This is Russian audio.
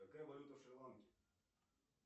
какая валюта в шри ланке